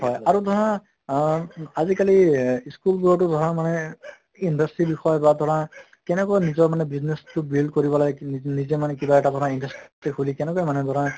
হয় আৰু ধৰা অহ আজি কালি এহ school বোৰতো ধৰা মানে industry বিষয় বা ধৰা কেনেকুৱা নিজৰ মানে business তো build কৰিব লাগে নি নিজে মানে কিবা এটা ধৰা industry খুলি কেনেকে মানে ধৰা